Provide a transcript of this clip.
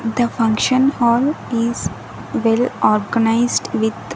The function hall is well organised with --